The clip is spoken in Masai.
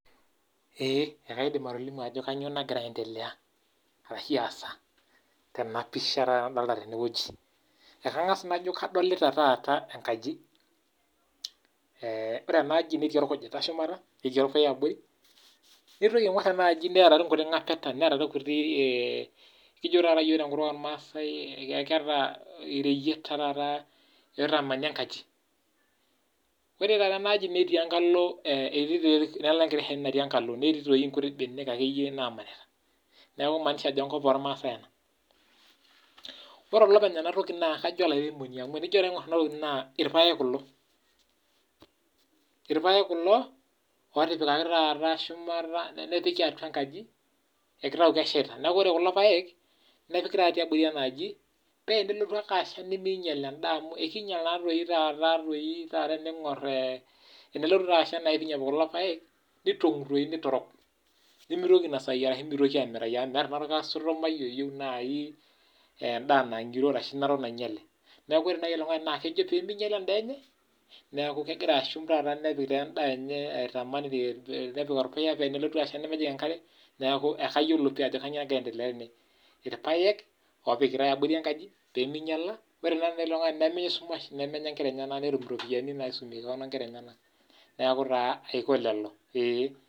Ekaidim atolimu Ajo kainyio nagira aendelea ashu asaa Tena pisha nadolita tenewueji ekang'as najo kadolita taata enkaji ore enaaji netii orkujiti shumata netii orpuya abori netaa enaaji nkuti ngapeta ore enaji netii enkiti Shani enkalo netii nkuti mbenek namaanita neeku kimaanisha Ajo enkop ormaasai ena ore olopeny ena toki naa olairemoni amu tenijo aing'or irpaek kulo otipikaki shumata nepiki atua enkaji ekitau keshaita neeku ore kulo paek nepiki tiabori enaaji paa tenelotu ashaa niminyial endaa amu ekinyial taata tenelotu naaji asha naa kinyial kulo paek nitongu nitorok nimitoki ainosai ashu nimitoki amiraki amu meeta naa orkastomai oyieu naaji endaa ngiro ashu Narok nainyiale neeke ore naaji ele tung'ani naa kejo pee minyiala endaa enye neeku kegira ashum nepik orpuya paa tenesha nemejing enkare neeku ekayiolo Ajo kainyio nagiraa aendelea tene irpaek otipikaki orpuya paa teneshaa niminyiala ore naa le tung'ani nemenyai esumash netum enkera naisumie enkera enyena